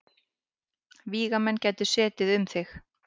Vígamenn gætu setið um þig.